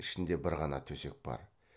ішінде бір ғана төсек бар